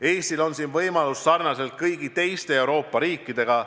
Eestil on siin võimalus sarnaselt kõigi teiste Euroopa riikidega.